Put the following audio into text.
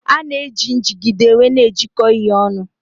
A na-eji njigide wee na ejiko ihe onu.